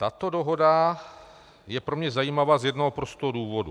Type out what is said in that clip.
Tato dohoda je pro mě zajímavá z jednoho prostého důvodu.